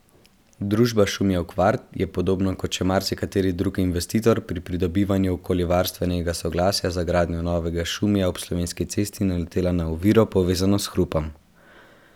Družba Šumijev kvart je podobno kot še marsikateri drug investitor pri pridobivanju okoljevarstvenega soglasja za gradnjo novega Šumija ob Slovenski cesti naletela na oviro, povezano s hrupom.